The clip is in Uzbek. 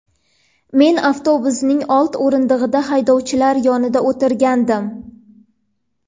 Men avtobusning old o‘rindig‘ida haydovchilar yonida o‘tirgandim.